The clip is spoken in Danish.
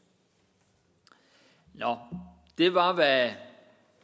nå det var hvad